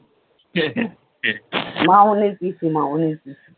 মামনির পিসি মামনির পিসি